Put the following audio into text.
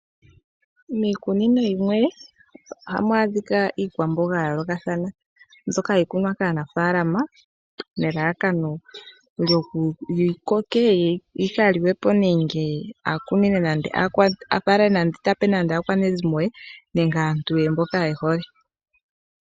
Miikunino yimwe ohamu adhika iikwamboga ya yoolokathana. Mbyoka hayi kunwa kaanafaalama nelalakano yi koke . Yo yi ka liwepo nenge ape aakwanezimo lye nenge aantu ye mboka ehole.